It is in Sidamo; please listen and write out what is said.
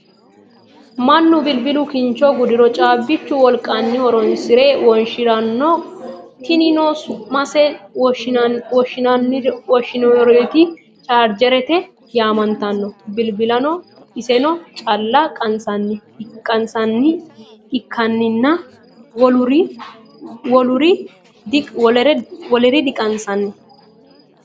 Mannu bilbilu kincho gudiro caabbichu wolqanni horonsire wonshiranno. Tinino su'mase wonshiranoti chaargerete yaamantanno. Bilbilano isenni calla qasi'nanni ikkinina woluri diqsi'nanni.